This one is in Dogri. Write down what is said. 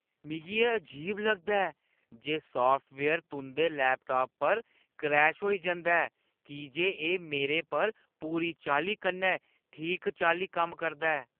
मिगी एह् अजीब लगदा ऐ जे साफ्टवेयर तुंʼदे लैपटाप पर क्रैश होई जंदा ऐ की जे एह् मेरे पर पूरी चाल्ली कन्नै ठीक चाल्ली कम्म करदा ऐ।